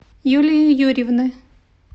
юлии юрьевны